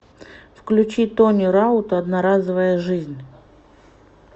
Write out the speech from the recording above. включи тони раута одноразовая жизнь